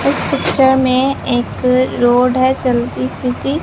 इस पिक्चर में एक रोड है चलती फिरती।